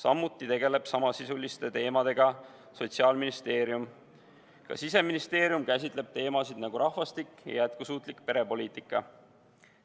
Nende teemadega tegelevad ka Sotsiaalministeerium ja Siseministeerium, kes kujundavad rahvastikupoliitikat ja jätkusuutlikku perepoliitikat.